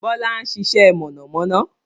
Bọlá ń ṣiṣẹ́ mọ̀nàmọ́ná